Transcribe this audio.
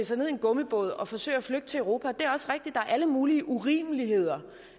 sig ned i en gummibåd og forsøge at flygte til europa det er også rigtigt er alle mulige urimeligheder